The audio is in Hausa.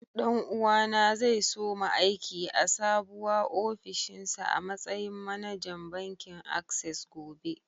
Ɗan uwa na zai soma aiki a sabuwa ofishinsa a matsayin manajan bankin access gobe.